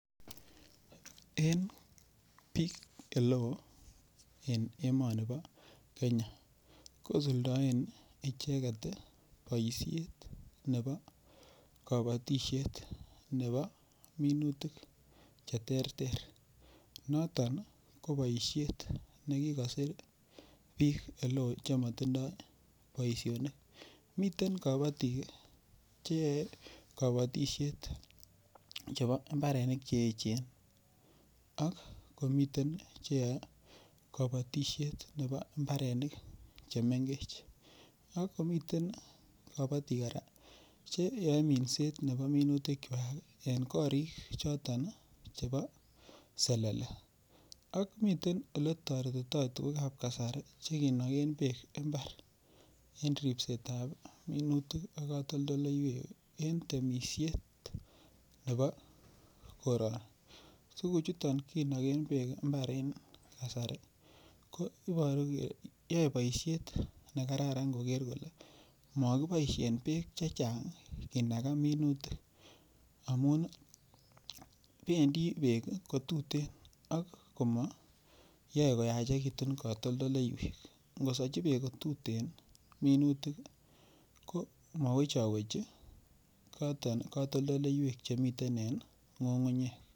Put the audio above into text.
En biik ole oo en emoni bo Kenya kosuldoen icheget boishet nebo kabotishet nebo minutik cheterter noton ko boishet nekikosir biik ole oo chematindoi boishonik meten kabotik cheyaei kabotishet chebo imbarenik cheechen ak komiten cheyoei kabotishet nebo mbarenik chemengech ak komiten kabotik kora cheyoei minsetab minutikwach en korik choton chebo selele ak miten ole toretitoi tukukab kasari chekinoken beek imbar en ripsetab minutik ak katoldoleiwek en temishet nebo koror tukuchuton kinoken beek mbaren kasari ko iboru kele yoei boishet nekararan koker kole makiboishen beek chechang' kenaka minutik amun bendi beek kotutin ak kumayoei koyachikitun katoldoleiwek ngosoichi beek kotutin minutik ko mawechowechi katoldoleiwek chemiten en ng'ungunyek